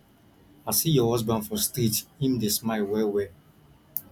i see your husband for street him dey smile well well